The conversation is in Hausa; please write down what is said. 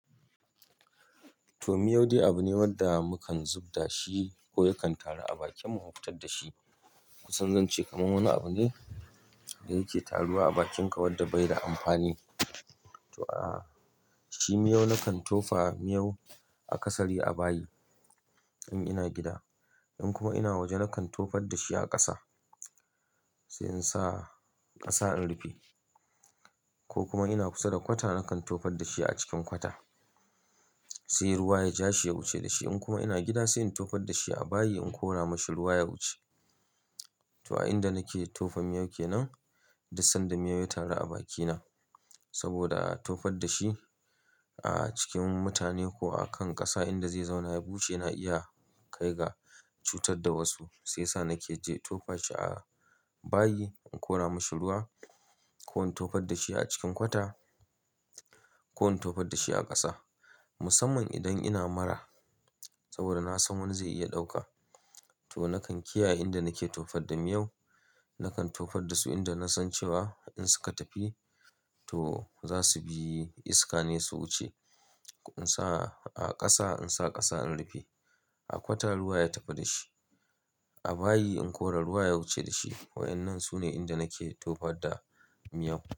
To, miyau dai abu ne wanda mukan zub da shi ko yakan taru a bakin mu, mu fitar da shi. Kusan zan ce kamar wani abu ne da yake taruwa a bakinka wanda bai da amfani. To a'a, shi miyau na kan tofa miyau a ƙasari a bayi in ina gida. In kuma ina waje na kan tofar da shi a ƙasa sai in sa ƙasa in rufe. Ko kuma ina kusa da kwata na kan tofar da shi a cikin kwata sai ruwa ya ja shi ya wuce da shi. In kuma ina gida sai in tofar da shi a bayi in kora mashi ruwa ya wuce. To a inda nake tofa miyau ke nan, da sanda miyau ya taru a bakina saboda a tofar da shi a cikin mutane ko a kan ƙasa inda zai zauna ya wuce na iya kai ga cutar da wasu. Sai sa nake je tofa shi a bayi in kora mashi ruwa ko in tofar da shi a cikin kwata ko in tofar da shi a ƙasa. Musamman idan ina mura, saboda na san wani zai iya dauka kuma na kan kiyaye inda nake tofar da miyau Nakan tofar da su inda na san cewa in suka tafi to za su bi iska ne su wuce. In sa a kasa in sa kasa in rufe A kwata ruwa ya tafi da shi. A bayi in kora ruwa ya wuce da shi. Wadannan sune inda nake tofar da miyau.